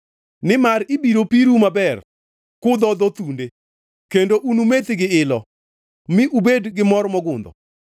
Nimar ibiro piru maber kudhodho thunde; kendo unumethi gi ilo mi ubed gi mor mogundho.”